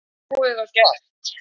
Málið sé búið og gert.